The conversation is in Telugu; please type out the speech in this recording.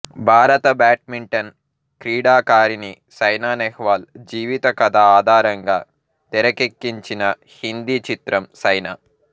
భారత బ్యాడ్మింటన్ క్రీడాకారిణి సైనా నెహ్వాల్ జీవిత కథ ఆధారంగా తెరకెక్కించిన హిందీ చిత్రం సైనా